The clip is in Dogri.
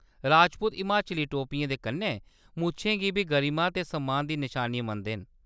राजपूत हिमाचली टोपियें दे कन्नै मुच्छें गी बी गरिमा ते सम्मान दी नशानी मनदे न।